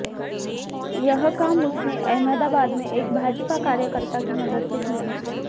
यह काम उसने अहमदाबाद में एक भाजपा कार्यकर्ता की मदद से किया